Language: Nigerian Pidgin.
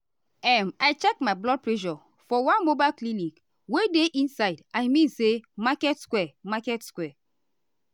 um i check my blood pressure for one mobile clinic wey dey inside i mean say market square. market square.